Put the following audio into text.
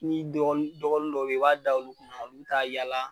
N'i n'i dɔgɔnin dɔ bɛyi i b'a da olu kunna olu bi taa a yaala.